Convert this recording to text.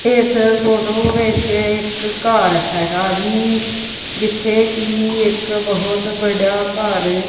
ਇੱਸ ਫ਼ੋਟੋ ਵਿੱਚ ਇੱਕ ਘੱਰ ਹੈਗਾ ਜੀ ਜਿੱਥੇ ਕੀ ਇੱਕ ਬੋਹੁਤ ਬੜਾ ਘੱਰ--